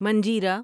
منجیرا